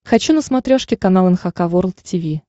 хочу на смотрешке канал эн эйч кей волд ти ви